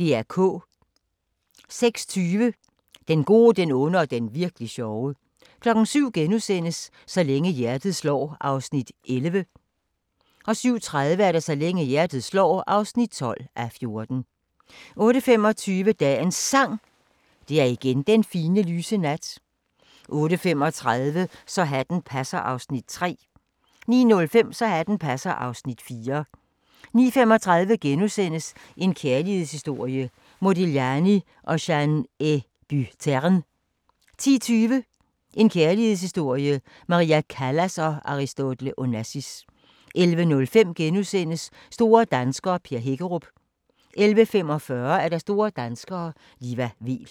06:20: Den gode, den onde og den virk'li sjove 07:00: Så længe hjertet slår (11:14)* 07:30: Så længe hjertet slår (12:14) 08:25: Dagens Sang: Det er igen den fine, lyse nat 08:35: Så hatten passer (Afs. 3) 09:05: Så hatten passer (Afs. 4) 09:35: En kærlighedshistorie – Modigliani & Jeanne Hébuterne * 10:20: En kærlighedshistorie – Maria Callas & Aristotle Onassis 11:05: Store danskere - Per Hækkerup * 11:45: Store danskere - Liva Weel